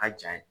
A ja ye